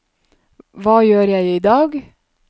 hva gjør jeg idag